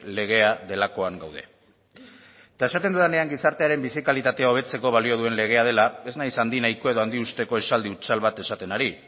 legea delakoan gaude eta esaten dudanean gizartearen bizi kalitatea hobetzeko balio duen legea dela ez naiz handi nahiko edo handi usteko esaldi hutsal bat esaten ari